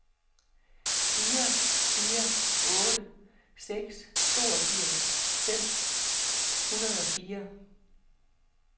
fire fire otte seks toogfirs fem hundrede og fire